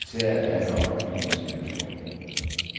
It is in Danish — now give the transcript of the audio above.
Militæret er en offentlig institution.